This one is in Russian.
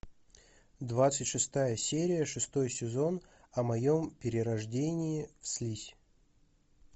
двадцать шестая серия шестой сезон о моем перерождении в слизь